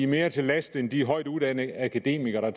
mere til last end de højtuddannede akademikere der